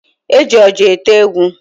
E ji oja ete egwu